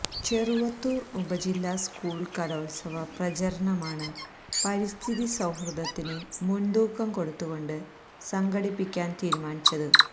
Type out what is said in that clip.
ചെറുവത്തൂര് ഉപജില്ല സ്കൂള് കലോത്സവ പ്രചരണമാണ് പരിസ്ഥിതി സൌഹൃദത്തിന് മുന്തൂക്കം കൊടുത്തുകൊണ്ട് സംഘടിപ്പിക്കാന് തീരുമാനിച്ചത്